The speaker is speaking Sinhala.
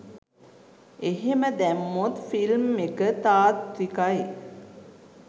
එහෙම දැම්මොත් ෆිල්ම් එක තාත්විකයි.